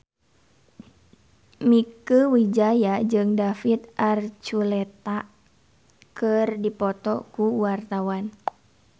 Mieke Wijaya jeung David Archuletta keur dipoto ku wartawan